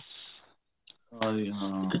ਹਾਂਜੀ ਹਾਂ